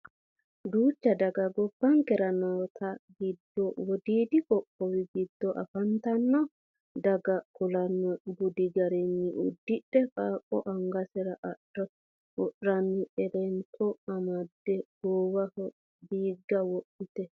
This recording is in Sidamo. duucha daga gobbankera noote giddo wodiidi qoqqowi giddo afantanno daga kulanno budi garinni uddidhe qaaqqo angasera ado worranni elenota amadde goowaho diigga wodhite no